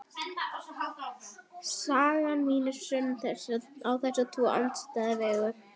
Saga mín er sönn á þessa tvo andstæðu vegu.